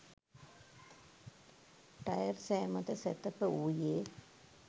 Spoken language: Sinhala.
ටයර් සෑ මත සැතපවූයේ